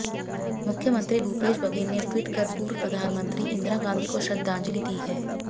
मुख्यमंत्री भूपेश बघेल ने ट्वीट कर पूर्व प्रधानमंत्ती इंदिरा गांधी को श्रद्धांजलि दी है